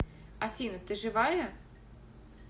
афина ты живая